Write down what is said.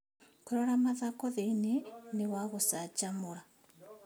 Kũrora mathako thĩiniĩ nĩ wa gũcanjamũra.